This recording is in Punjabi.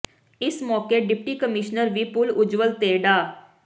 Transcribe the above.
ਇਸ ਮੌਕੇ ਡਿਪਟੀ ਕਮਿਸ਼ਨਰ ਵੀ ਪੁਲ ਉੱਜਵਲ ਤੇ ਡਾ